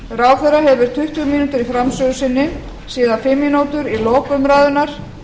ráðherra hefur tuttugu mínútur í framsögu sinni síðan fimm mínútur í lok umræðunnar